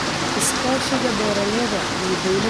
Iskaashiga beeralayda iyo dawladda waa muhiim.